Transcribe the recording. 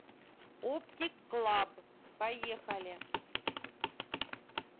оптиклаб поехали